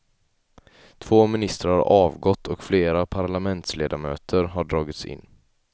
Två ministrar har avgått och flera parlamentsledamöter har dragits in.